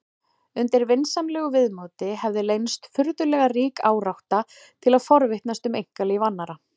Undir vinsamlegu viðmóti hefði leynst furðulega rík árátta til að forvitnast um einkalíf annarra.